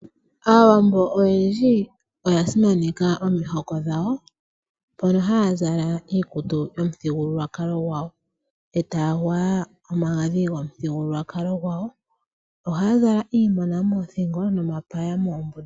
Aawambo oyendji oya simaneka omihoko dhawo. Mpono haya zala iikutu yomuthigululwakalo gwawo. Eta ya gwaya omagadhi gomuthigululwakalo gwawo. Ohaya zala iimona moothingo nomapaya moombunda.